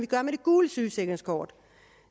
gør med det gule sygesikringskort